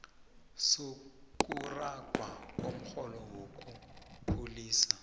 sokuragwa komrholo wokukhulisa